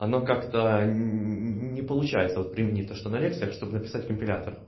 оно как-то не получается вот применить то что на лекциях чтобы написать компилятор